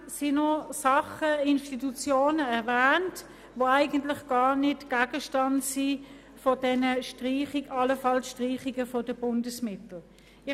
Zudem werden noch Dinge und Institutionen erwähnt, die gar nicht Gegenstand dieser allfälligen Streichung der Bundesmittel sind.